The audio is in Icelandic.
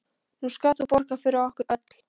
Nú skalt þú borga fyrir okkur öll.